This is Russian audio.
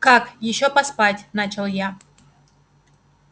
как ещё поспать начал я